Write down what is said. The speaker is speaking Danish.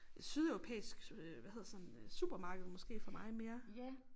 Sydeuropæisk hvad hedder sådan supermarked måske for mig mere